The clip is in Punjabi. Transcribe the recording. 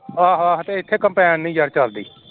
ਹੱਹ ਹਾਡੇ ਐਥੇ combine ਨਹੀਂ ਯਰ ਚਲਦੀ